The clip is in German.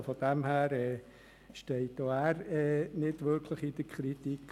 Deshalb steht er auch nicht wirklich in der Kritik.